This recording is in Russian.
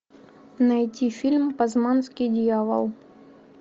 найти фильм пазманский дьявол